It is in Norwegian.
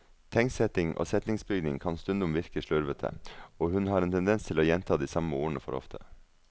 Tegnsetting og setningsbygning kan stundom virke slurvete, og hun har en tendens til å gjenta de samme ordene for ofte.